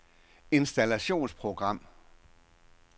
installationsprogram